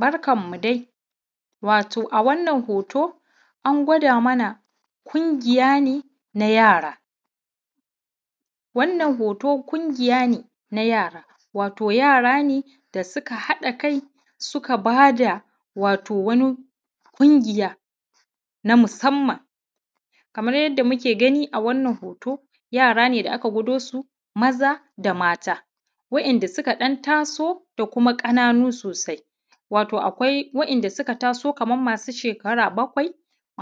Barkanmu dai wato a wannan hoto an gwada mana ƙungiya ne na yara. Wannan hoto ƙungiya ne na yara, wato yara ne da suka haɗa Kai suka ba da wani ƙungiya na musamman. Kamar yadda muke gani a wannan hoto yara ne da mata waɗanda suka ɗan taso da ma manya. Wato akwai waɗanda suka taso kamar masu shekara bakwai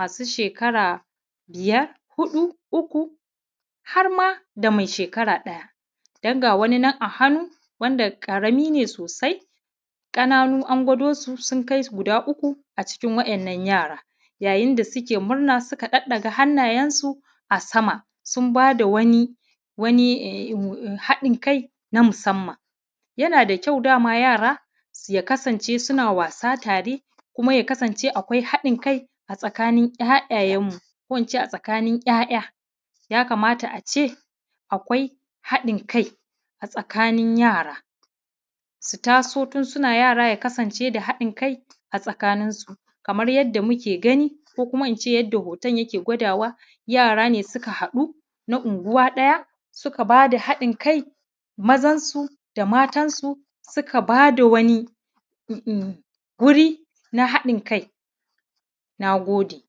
shekara biyar, huɗu, uku har ma da mai shekara ɗaya karamin ne sosai. Ƙananu an gwado su su uku a cikin waɗannan yara, yayin da suke murna suka ɗaɗɗaga hannuyensu a sama sun ba da wani haɗin Kai na musamman. Yana da ƙyau dama yara ya kasance akwai haɗin Kai a tsakanin 'ya'yayenmu, ya kamata a ce akwai haɗin Kai a tsakanin yara. Su taso tun suna yara akwai haɗin Kai a tsakaninsu kamar yadda muke gani ko kuma in ce yadda hoton yake gwadawa yara ne suka haɗu na unguwa ɗaya suka ba da haɗin Kai mazansu da matansu suka ba da wani wurin na haɗin Kai. Na gode. i